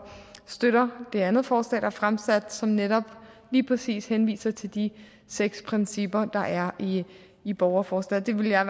støtter det andet forslag der er fremsat som netop lige præcis henviser til de seks principper der er i borgerforslaget det ville jeg